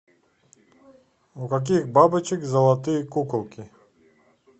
у каких бабочек золотые куколки